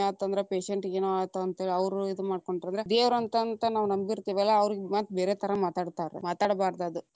ಆತಂದ್ರ patient ಗೆನೊ ಆಯಿತ ಅಂತ ಹೇಳಿ ಅವ್ರು ಇದ ಮಾಡ್ಕೊಂಡಂದ್ರ ದೇವರ ಅಂತ ಅಂತ ನಾವ್‌ ನಂಬಿತೇ೯ವಲ್ಲಾ ಅವ್ರಿಗ್‌ ಮತ್ತ ಬೇರೆ ಥರಾ ಮಾತಾಡತಾರ, ಮಾತಾಡಬಾರದ ಅದ.